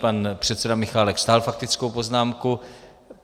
Pan předseda Michálek stáhl faktickou poznámku.